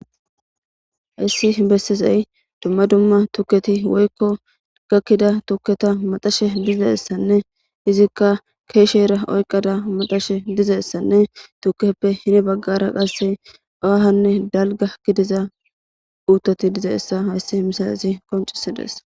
Hayssi hinbessizey dumma dumma tukketi woykko gakkida tukketa maxashe dizassanne izikka keeshe era oyqqada matashe dizassanne tukeppe hini baggara qasse aahanne dalga gidiza uutoti diza issa hayssi hmmisaasi koncisidees.